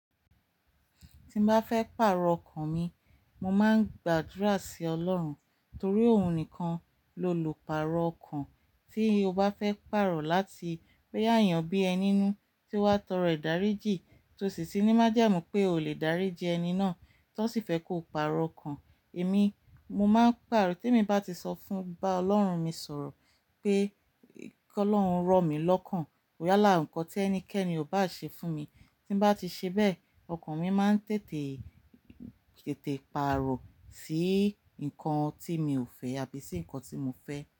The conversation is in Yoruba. Tí n bá fẹ́ pàrọ̀ ọkàn mi, mo máa ń gbàdúrà sí Ọlọ́run torí òun nìkan lo lo pàrọ̀ ọkàn. Tí o bá fẹ́ pàrọ̀ láti pé àyàn bí ẹni inú tí wọ́n tọrọ ìdáríjì tí ó sì sí ní májàmu pé o lè dáríjì ẹni náà tí wọ́n sì fẹ́ kó pàrọ̀ ọkàn. Èmi, mo máa ń pàrọ̀, ti emi bá ti sọ fún bá Ọlọ́run mi sọ̀rọ̀ pé kí Ọlọ́run rọ̀ mí lọ́kàn. Yálà o, ǹkan tí ẹnikẹ́ni ò bá ṣe fún mi tí bá ti ṣe bẹ́ẹ̀, ọkàn mi máa ń tètè, tètè pàrọ̀ sí nǹkan tí mi ò fẹ́ àbí sí nǹkan tí mo fẹ́